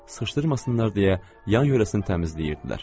Saşdırmasınlar deyə yan yörəsini təmizləyirdilər.